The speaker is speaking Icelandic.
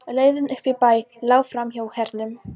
Leiðin upp í bæ lá framhjá Hernum.